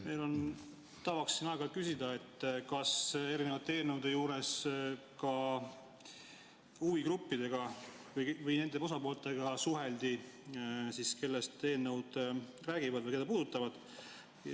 Meil on tavaks siin aeg-ajalt küsida, kas erinevate eelnõude juures ka huvigruppidega või nende osapooltega suheldi, kellest eelnõud räägivad või keda need puudutavad.